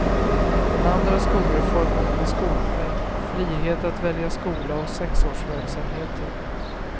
Den andra skolreformen med skolpeng, frihet att välja skola och sexårsverksamheten.